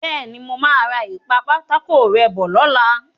Bẹ́ẹ̀ni, mo máa ra ìpa-pátákó-rẹ́ bọ̀ lọ́la.